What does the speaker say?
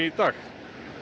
dag